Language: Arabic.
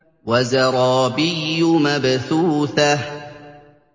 وَزَرَابِيُّ مَبْثُوثَةٌ